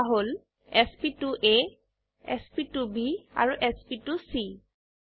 সেইয়া হল sp2আ sp2ব আৰু sp2চি